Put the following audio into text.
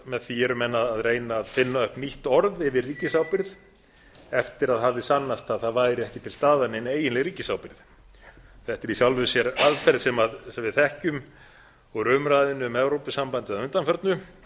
með því eru menn að reyna að finna nýtt orð yfir ríkisábyrgð eftir að sannast hafði að ekki væri til staðar nein eiginleg ríkisábyrgð þetta er í sjálfu sér aðferð sem við þekkjum úr umræðunni um evrópusambandið að undanförnu